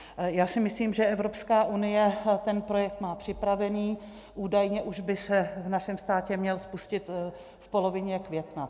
Já si myslím, že Evropská unie ten projekt má připravený, údajně už by se v našem státě měl spustit v polovině května.